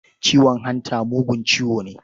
Ciwon hanta mugun ciwo ne.